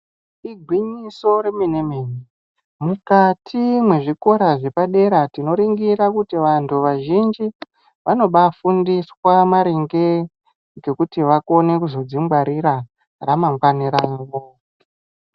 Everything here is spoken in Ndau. Igwinyiso remene-mene, mukati mwezvikora zvepadera tinoringira kuti vantu vazhinji, vanobaafundiswa maringe, ngekuti vakone kuzodzingwarira ramangwani ravo.